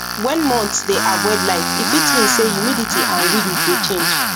when moths dey avoid light e fit mean say humidity and wind dey change